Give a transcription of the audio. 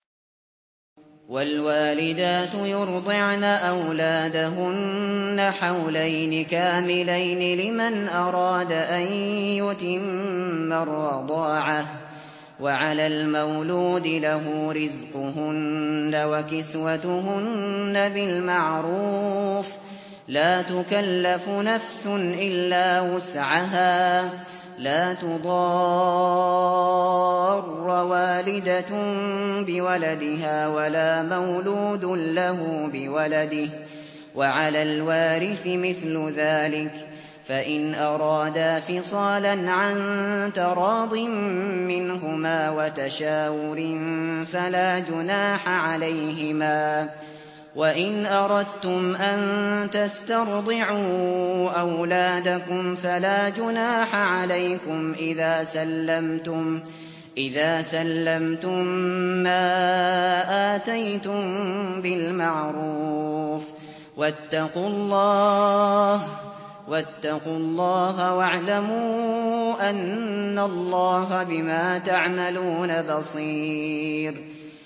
۞ وَالْوَالِدَاتُ يُرْضِعْنَ أَوْلَادَهُنَّ حَوْلَيْنِ كَامِلَيْنِ ۖ لِمَنْ أَرَادَ أَن يُتِمَّ الرَّضَاعَةَ ۚ وَعَلَى الْمَوْلُودِ لَهُ رِزْقُهُنَّ وَكِسْوَتُهُنَّ بِالْمَعْرُوفِ ۚ لَا تُكَلَّفُ نَفْسٌ إِلَّا وُسْعَهَا ۚ لَا تُضَارَّ وَالِدَةٌ بِوَلَدِهَا وَلَا مَوْلُودٌ لَّهُ بِوَلَدِهِ ۚ وَعَلَى الْوَارِثِ مِثْلُ ذَٰلِكَ ۗ فَإِنْ أَرَادَا فِصَالًا عَن تَرَاضٍ مِّنْهُمَا وَتَشَاوُرٍ فَلَا جُنَاحَ عَلَيْهِمَا ۗ وَإِنْ أَرَدتُّمْ أَن تَسْتَرْضِعُوا أَوْلَادَكُمْ فَلَا جُنَاحَ عَلَيْكُمْ إِذَا سَلَّمْتُم مَّا آتَيْتُم بِالْمَعْرُوفِ ۗ وَاتَّقُوا اللَّهَ وَاعْلَمُوا أَنَّ اللَّهَ بِمَا تَعْمَلُونَ بَصِيرٌ